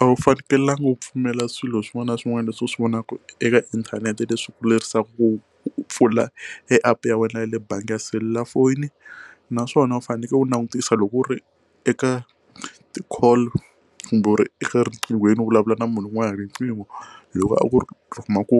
A wu fanekelanga u pfumela swilo swin'wana na swin'wana leswi u swi vonaka eka inthanete leswi kurisaka ku pfula app ya wena ya le bangi ya selulafoni naswona u fanekele u langutisa loko ku ri eka ti call kumbe u ri eka riqinghweni u vulavula na munhu un'wana riqingho loko a ku ri u kuma ku